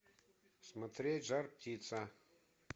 смотреть жар птица